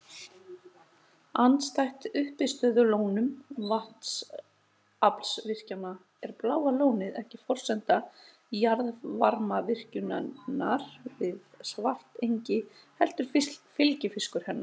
Andstætt uppistöðulónum vatnsaflsvirkjana er Bláa lónið ekki forsenda jarðvarmavirkjunarinnar við Svartsengi heldur fylgifiskur hennar.